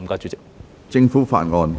政府法案：首讀。